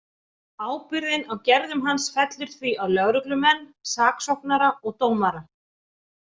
Ábyrgðin á gerðum hans fellur því á lögreglumenn, saksóknara og dómara.